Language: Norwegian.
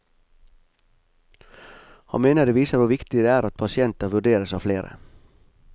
Han mener det viser hvor viktig det er at pasienter vurderes av flere.